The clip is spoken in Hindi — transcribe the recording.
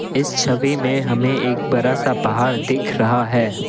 इस छवि में हमें एक बड़ा सा पहाड़ दिख रहा है।